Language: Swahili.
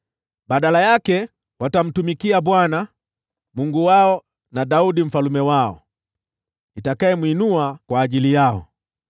Badala yake, watamtumikia Bwana , Mungu wao na Daudi mfalme wao, nitakayemwinua kwa ajili yao.